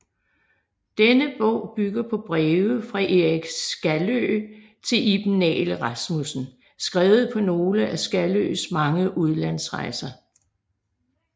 Denne bog bygger på breve fra Eik Skaløe til Iben Nagel Rasmussen skrevet på nogle af Skaløes mange udlandsrejser